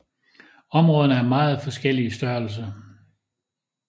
Områderne er meget forskellige i størrelse